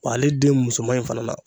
Ale den musoman in fana na